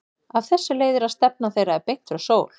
Af þessu leiðir að stefna þeirra er beint frá sól.